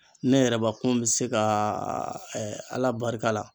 Ne yɛrɛbakun bɛ se kaaaa ala barika la.